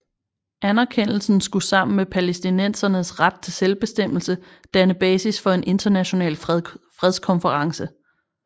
Anerkendelsen skulle sammen med palæstinensernes ret til selvbestemmelse danne basis for en international fredskonference